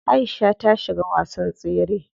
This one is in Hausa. Aisha ta shiga wasan tsere.